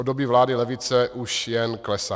Od doby vlády levice už jen klesá.